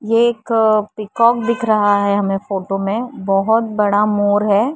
ये एक पीकॉक दिख रहा है हमें फोटो में बहुत बड़ा मोर है।